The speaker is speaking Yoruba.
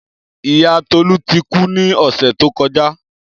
Iya Tolu ti ku ni ọsẹ to kọja.